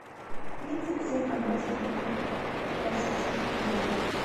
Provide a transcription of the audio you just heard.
тридцать семь английских фунтов в российских рублях